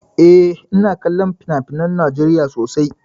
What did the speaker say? Eh, ina kallon finafinan Najeriya sosai.